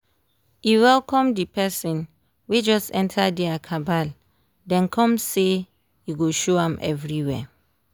e welcome d person wey just enter dia cabal den come say e go show am everywhere